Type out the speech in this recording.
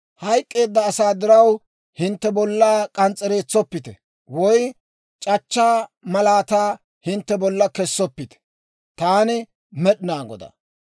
« ‹Hayk'k'eeda asaa diraw hintte bollaa k'ans's'ereetsoppite; woy c'achchaa malaataa hintte bollan kessoppite. Taani Med'inaa Godaa.